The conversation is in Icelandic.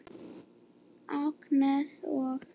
Agnes og